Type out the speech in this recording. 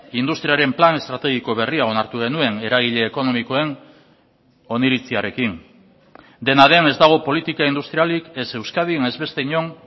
industriaren plan estrategiko berria onartu genuen eragile ekonomikoen oniritziarekin dena den ez dago politika industrialik ez euskadin ez beste inon